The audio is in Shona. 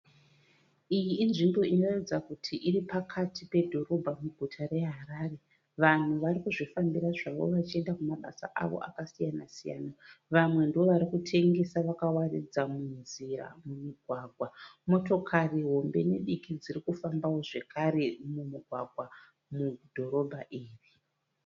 Iyi inzvimbo inoratidza kuti iri pakati pedhorobha muguta reHarare. Vanhu varikuzvifambira zvavo vachienda kumabasa avo akasiyana siyana. Vamwe ndovarikutengesa vakawaridza munzira mumigwagwa. Motokari hombe nediki dzirikufambawo zvekare mumugwagwa mudhorobha iri.